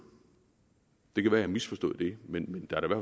det kan være jeg har misforstået det men der er da